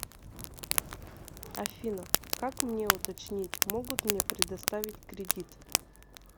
афина как мне уточнить могут мне предоставить кредит